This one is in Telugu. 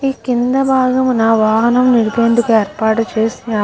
ఈ కింద భాగమున వాహనం నిలిపేందుకు ఏర్పాటు చేశారు.